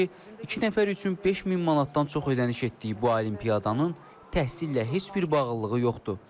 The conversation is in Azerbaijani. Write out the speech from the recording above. iki nəfər üçün 5000 manatdan çox ödəniş etdiyi bu olimpiyadanın təhsillə heç bir bağlılığı yoxdur.